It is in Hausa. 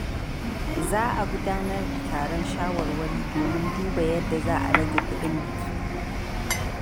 Za a gudanar da taron shawarwari domin duba yadda za a rage kuɗin biki.